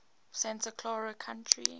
santa clara county